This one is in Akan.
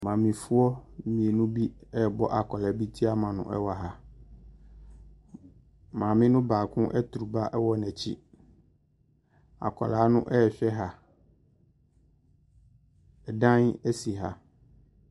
Maame foɔ mmienu bi ɛbɔ akwadaa bi te ama nu ɛwɔ ha. Maame nu baako etu ba wɔ n'akyi. Akwadaa nu ɛhwɛ ha. Ɛdan esi ha.